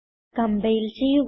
compile ചെയ്യുക